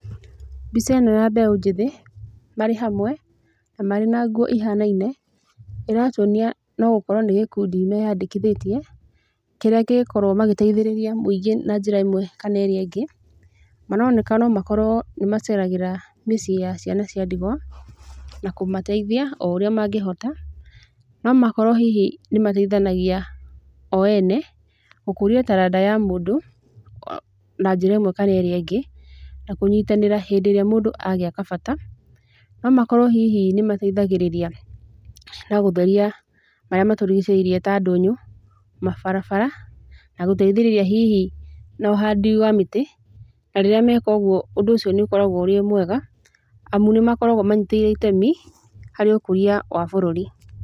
Mbica ĩno ya mbeũ njĩthĩ, marĩ hamwe, na marĩ na nguo ihanaine, ĩratuonia no gũkorwo nĩ gĩkundi meyandĩkithĩtie, kĩrĩa kĩngĩkorwo magĩteithĩrĩria mũingĩ na njĩra ĩmwe kana ĩrĩa ĩngĩ, maroneka no makorwo nĩ maceragĩra mĩciĩ ya ciana cia ndigwa, na kũmateithia o ũrĩa mangĩhota. No makorwo hihi nĩ mateithanagia o ene, gũkũria taranda ya mũndũ, na njĩra ĩmwe kana ĩrĩa ĩngĩ, na kũnyitanĩra hĩndĩ ĩrĩa mũndũ agĩa kabata. No makorwo hihi nĩ mateithagĩrĩria na gũtheria marĩa matũrigicĩirie ta ndũnyũ, mabarabara, na gũteithĩrĩria hihi na ũhandi wa mĩtĩ. Na rĩrĩa meka ũguo ũndũ ũcio nĩ ũkoragwo ũrĩ mwega, amu nĩ makoragwo manyĩtĩire itemi, harĩ ũkũria wa bũrũri.